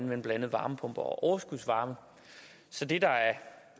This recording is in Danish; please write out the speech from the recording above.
blandt andet varmepumper og overskudsvarme så det der er